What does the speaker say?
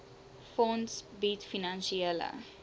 fonds bied finansiële